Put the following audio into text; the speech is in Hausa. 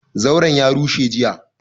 Zauran ya rushe jiya,